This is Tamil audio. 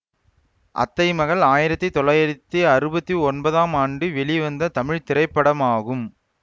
அத்தை மகள் ஆயிரத்தி தொள்ளாயிரத்தி அறுவத்தி ஒன்பதாம் ஆண்டு வெளிவந்த தமிழ் திரைப்படமாகும்